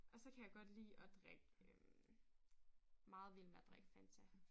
Og så kan jeg godt lide at drikke øh meget vild med at drikke Fanta